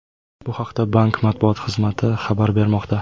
Bu haqda bank matbuot xizmati xabar bermoqda .